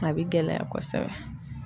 A be gɛlɛya kɔsɛbɛ.